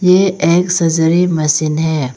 ए x-ray machine है।